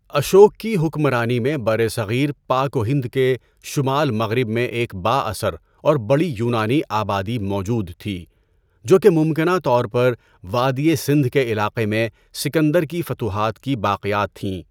اشوک کی حکمرانی میں برصغیر پاک و ہند کے شمال مغرب میں ایک بااثر اور بڑی یونانی آبادی موجود تھی، جو کہ ممکنہ طور پر وادی سندھ کے علاقے میں سکندر کی فتوحات کی باقیات تھیں۔